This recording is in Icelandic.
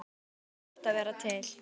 Það var gott að vera til.